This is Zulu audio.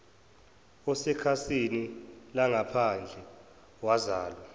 osekhasini langaphandle wazalwa